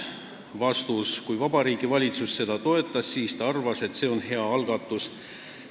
Vastus: kui Vabariigi Valitsus seda toetas, siis ta arvas, et see on hea algatus.